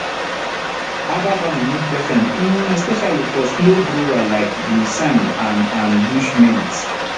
herbal farming need patience um especially for slow grower like ginseng and and bush mint